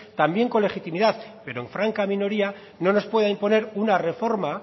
también en legitimidad pero en franca minoría no nos puede imponer una reforma